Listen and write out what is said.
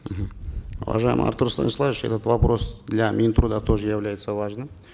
мхм уважаемый артур станиславович этот вопрос для мин труда тоже является важным